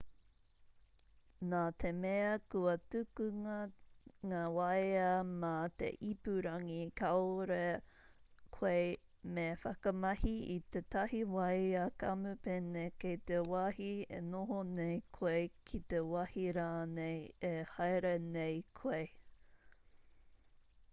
nā te mea kua tukunga ngā waea mā te ipurangi kāore koe me whakamahi i tētahi wāea kamupene kei te wāhi e noho nei koe ki te wāhi rānei e haere nei koe